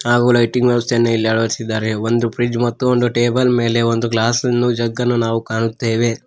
ಹಾಗೂ ಲೈಟಿಂಗ್ ವ್ಯವಸ್ಥೆಯನ್ ಇಲ್ಲಿ ಅಳವಡಿಸಿದ್ದಾರೆ ಒಂದು ಪ್ರಿಜ್ ಮತ್ತು ಒಂದು ಟೇಬಲ್ ಮೇಲೆ ಒಂದು ಗ್ಲಾಸನ್ನು ಜಗನ್ನು ನಾವು ಕಾಣುತ್ತೇವೆ.